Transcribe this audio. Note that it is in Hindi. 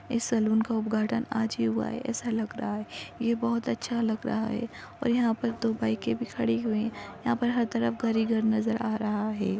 इस सलून का उद्घाटन आज ही हुआ है ऐसा लग रहा है ये बहुत अच्छा लग रहा है और यहा पर दो बाइके भी खड़ी हुई यहा पर हर तरफ घर ही घर नजर आ रहा है।